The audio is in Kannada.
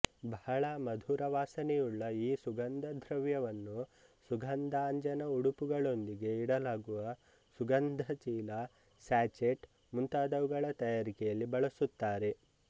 ಬಹಳ ಮಧುರ ವಾಸನೆಯುಳ್ಳ ಈ ಸುಗಂಧದ್ರವ್ಯವನ್ನು ಸುಗಂಧಾಂಜನ ಉಡುಪುಗಳೊಂದಿಗೆ ಇಡಲಾಗುವ ಸುಗಂಧ ಚೀಲ ಸ್ಯಾಚೆಟ್ ಮುಂತಾದವುಗಳ ತಯಾರಿಕೆಯಲ್ಲಿ ಬಳಸುತ್ತಾರೆ